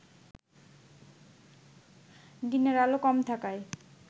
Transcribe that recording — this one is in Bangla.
দিনের আলো কম থাকায়